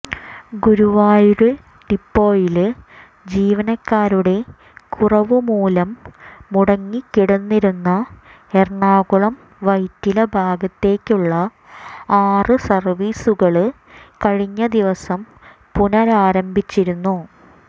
ഗുരുവായൂര് ഡിപ്പോയില് ജീവനക്കാരുടെ കുറവു മൂലം മുടങ്ങി കിടന്നിരുന്ന എറണാകുളം വൈറ്റില ഭാഗത്തേക്കുള്ള ആറ് സര്വ്വീസുകള് കഴിഞ്ഞ ദിവസം പുനരാരംഭിച്ചിരുന്നു